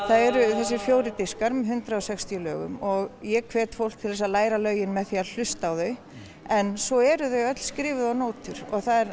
það eru þessir fjórir diskar með hundrað og sextíu og ég hvet fólk til þess að læra lögin með því að hlusta á þau en svo eru þau öll skrifuð á nótur